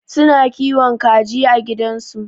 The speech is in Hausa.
Su na kiwon kaji a gidan su.